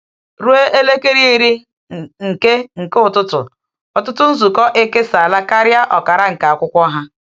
Ruo elekere iri nke nke ụtụtụ, ọtụtụ nzukọ ekesala karịa ọkara nke akwụkwọ ha.